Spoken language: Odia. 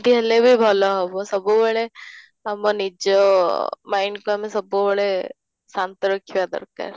ହେଲେବି ଭଲ ହେବ ସବୁବେଳେ ଆମ ନିଜ mind କୁ ଆମେ ସବୁବେଳେ ଶାନ୍ତ ରଖିବା ଦରକାର